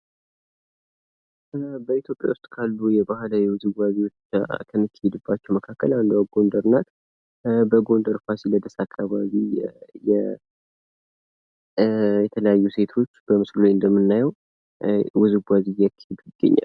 በኢትዮጵያ ውስጥ ካሉ ባህላዊ ውዝዋዜዎች ከሚካሄድበት መካከል አንዷ ጎንደር ናት ። በጎንደር ፋሲለደስ አካባቢ የተለያዩ ሴቶች በምስሉ ላይ እንደምናየው ውዝዋዜ እያካሄዱ ይገኛሉ።